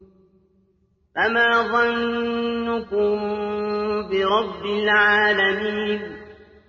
فَمَا ظَنُّكُم بِرَبِّ الْعَالَمِينَ